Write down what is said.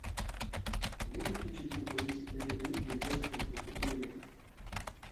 можешь включить игру английской премьер лиги вест хэм против ливера